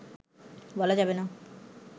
বলা যাবে না